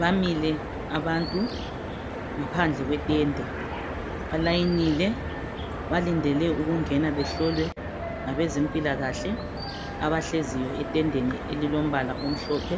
Bamile abantu ngaphandle kwetende, balayinile balindele ukungena behlolwe ngabezempilakahle abahleziyo etendeni elilombala omhlophe.